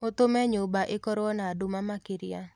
ũtũme nyũmba ĩkorwo na dũma makĩrĩa